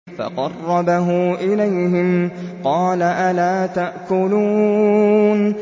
فَقَرَّبَهُ إِلَيْهِمْ قَالَ أَلَا تَأْكُلُونَ